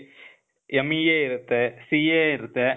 MEA ಇರತ್ತೇ, CA ಇರತ್ತೇ,